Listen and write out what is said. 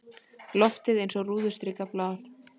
Loftið eins og rúðustrikað blað.